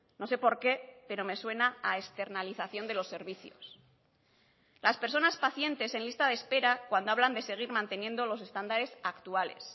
no sé por qué pero me suena a externalización de los servicios las personas pacientes en lista de espera cuando hablan de seguir manteniendo los estándares actuales